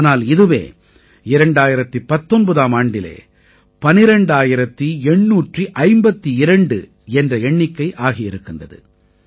ஆனால் இதுவே 2019ஆம் ஆண்டிலே 12852 என்ற எண்ணிக்கை ஆகி இருக்கிறது